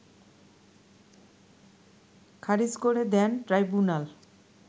খারিজ করে দেন ট্রাইব্যুনাল